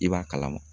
I b'a kalama